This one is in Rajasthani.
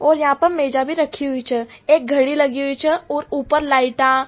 और यहां पे मेजा भी राखी हुई छ एक घडी लगी हुई छ और ऊपर लाइट --